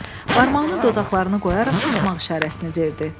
Barmağını dodaqlarına qoyaraq susmaq işarəsini verdi.